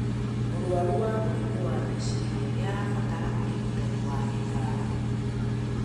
Mũrwaru wa mĩrimũ ya meciria nĩabatara ũrigitani wa gĩtaramu